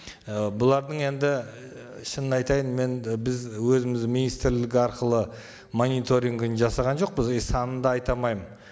і бұлардың енді шынын айтайын мен біз өзіміз министрлік арқылы мониторингін жасаған жоқпыз и санын да айта алмаймын